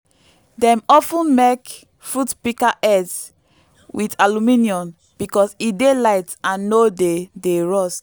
dem of ten mek fruit pika heads with aluminium because e dey light and no dey dey rust